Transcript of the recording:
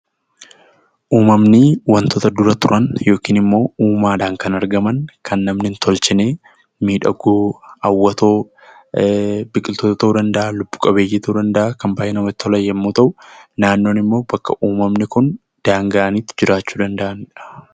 Uumamni wantoota dura turan yookiin immoo uumaadhaan kan argaman kan namni hin tolchine miidhagoo, hawwatoo biqiltoota ta'uu danda'a lubbu-qabeeyyii ta'uu danda'a kan baay'ee namatti tolan yommuu ta'u, naannoon immoo bakka uumamni kun daanga'anii itti jiraachuu danda'anidha.